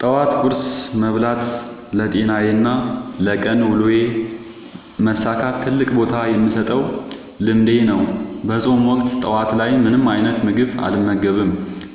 ጠዋት ቁርስ መብላት ለጤናዬና ለቀን ውሎዬ መሳካት ትልቅ ቦታ የምሰጠው ልምዴ ነው። በፆም ወቅት ጠዋት ላይ ምንም አይነት ምግብ አልመገብም።